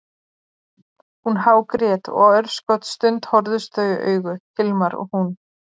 Hún hágrét og örskotsstund horfðust þau í augu, Hilmar og hún.